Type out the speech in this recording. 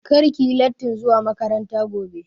Kar ki yi lattin zuwa makaranta gobe!